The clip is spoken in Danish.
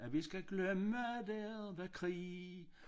At vi skal glemme der var krig